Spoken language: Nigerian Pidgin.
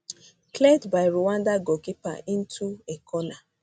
cleared by rwanda goalkeeper into a corner